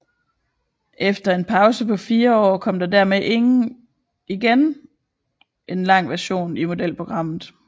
Efter en pause på fire år kom der dermed igen en lang version i modelprogrammet